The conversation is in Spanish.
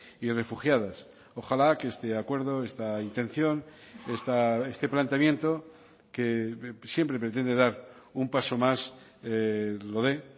y refugiadas ojalá que este acuerdo esta intención este planteamiento que siempre pretende dar un paso más lo dé